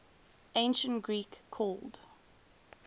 ancient greek called